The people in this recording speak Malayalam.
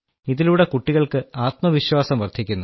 ഇതിലൂടെ കുട്ടികൾക്ക് ആത്മവിശ്വാസം വർദ്ധിക്കുന്നു